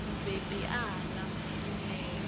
mubebi a hana u ṋea